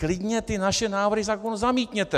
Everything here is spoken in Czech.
Klidně ty naše návrhy zamítněte.